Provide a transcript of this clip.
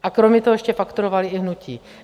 A kromě toho ještě fakturovali i hnutí.